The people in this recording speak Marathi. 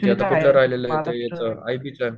ते आता कुठल राहिलेलं आहे ते आता च